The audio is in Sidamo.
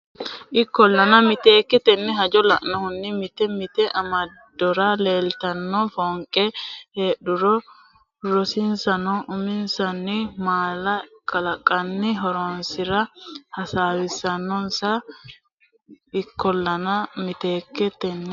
Ikkollana miteekke tenne hajo lainohunni mite mite amadora leeltanno foonqe heedhuro rosiisaano uminsanni mala kalaqqanni horonsi ra hasiissannonsa Ikkollana miteekke tenne.